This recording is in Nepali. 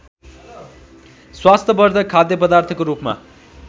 स्वास्थ्यवधर्क खाद्यपदार्थको रूपमा